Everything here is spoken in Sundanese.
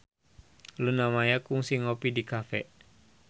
Luna Maya kungsi ngopi di cafe